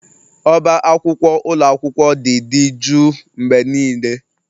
Ọbá akwụkwọ ụlọ akwụkwọ dị dị juu mgbe niile